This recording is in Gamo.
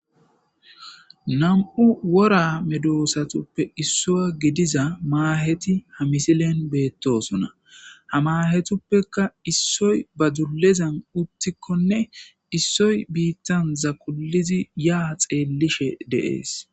Nam'u wora medosatuppe issuwa gidiza maaheti ha misiliyan beetosona ha maahetippekka issoy ba dullezan uttikonne issoy biittan zaqulidi ya xeellishe de'es.